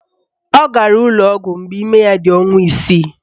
Ọ gara n'ụlọọgwụ mgbe ime ya dị ọnwa isii